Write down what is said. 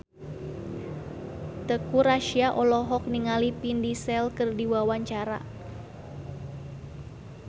Teuku Rassya olohok ningali Vin Diesel keur diwawancara